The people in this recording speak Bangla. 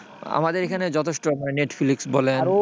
আমাদের এখানে যত যথেষ্ট নেটফ্লিক্স বলেন,